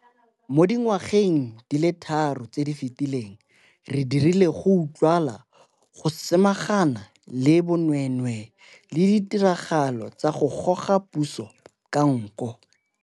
Mo dingwageng di le tharo tse di fetileng re dirile go utlwagala go samaganan le bonweenwee le ditiragalo tsa go goga puso ka nko.